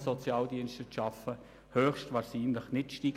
Sozialdiensten zu arbeiten, höchstwahrscheinlich nicht steigen.